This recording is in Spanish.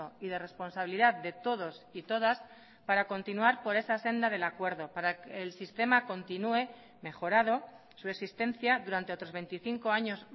y de responsabilidad de todos y todas para continuar por esa senda del acuerdo para que el sistema continúe mejorado su existencia durante otros veinticinco años